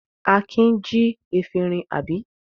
Akin jí efirin, àbí?